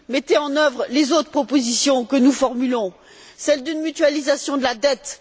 mettez en œuvre les autres propositions que nous formulons, comme celle d'une mutualisation de la dette.